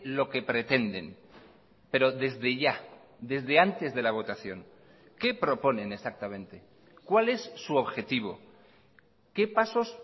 lo que pretenden pero desde ya desde antes de la votación qué proponen exactamente cuál es su objetivo qué pasos